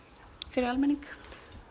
fyrir almenning